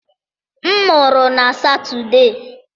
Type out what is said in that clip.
M mụrụ na Satọde.